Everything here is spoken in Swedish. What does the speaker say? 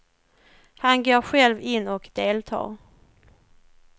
Han går själv in och deltar.